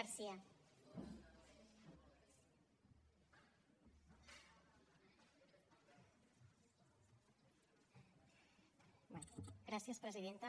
gràcies presidenta